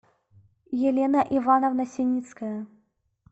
елена ивановна синицкая